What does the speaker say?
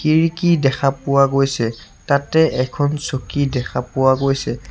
খিৰিকী দেখা পোৱা গৈছে। তাতে এখন চকী দেখা পোৱা গৈছে।